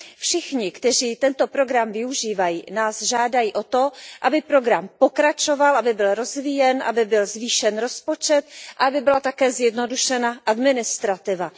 Všichni, kteří tento program využívají, nás žádají o to, aby program pokračoval, aby byl rozvíjen, aby byl zvýšen rozpočet, aby byla také zjednodušena administrativa.